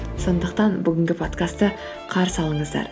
сондықтан бүгінгі подкастты қарсы алыңыздар